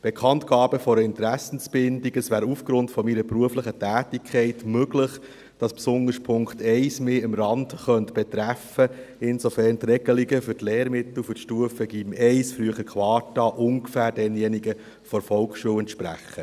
Bekanntgabe meiner Interessenbindung: Es wäre aufgrund meiner beruflichen Tätigkeit möglich, dass mich besonders der Punkt 1 am Rande betreffen könnte, insofern als die Regelungen für die Lehrmittel der Stufe GYM1, früher Quarta, ungefähr denjenigen der Volksschule entsprechen.